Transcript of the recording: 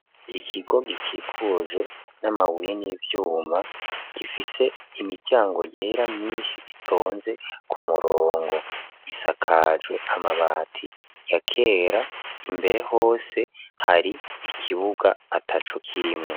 Ikigo gikikujwe n'amabuye n'ivyuma gifise imiryango yera myinshi itonze ku murongo isakajwe amabati yakera. Imbere hose hari ikibuga ataco kirimwo.